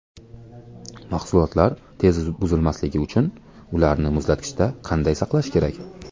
Mahsulotlar tez buzilmasligi uchun ularni muzlatgichda qanday saqlash kerak?.